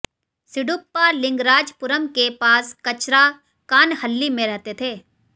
सिड्डप्पा लिंगराजपुरम के पास कचराकानहल्ली में रहते थे